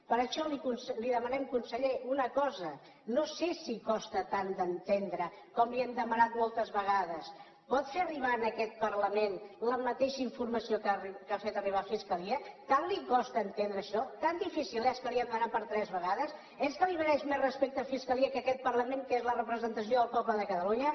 per això li demanem conseller una cosa no sé si costa tant d’entendre com li hem demanat moltes vegades pot fer arribar a aquest parlament la mateixa informació que ha fet arribar a fiscalia tant li costa entendre això tan difícil és que li hem de demanat per tres vegades és que li mereix més respecte fiscalia que aquest parlament que és la representació del poble de catalunya